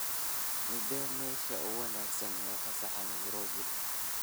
Meeday meesha ugu wanaagsan ee fasaxa nairobi?